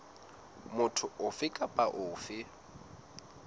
motho ofe kapa ofe a